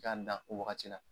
K'a dan o wagati la.